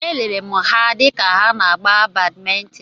Elere m ha dịka ha na-agba badmintin.